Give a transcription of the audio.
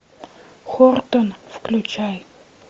хортон включай